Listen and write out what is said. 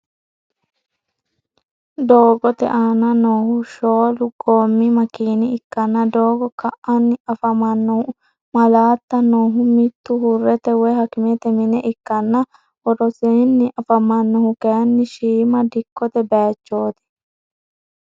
Doogote aana noohu shoolu goommi makina ikkanna doogo ka'anni afamannohu maalaatta noohu mittu hurrete woy hakimete mine ikkanna worosinni afamannohu kayinni shiima dikkote bayichot.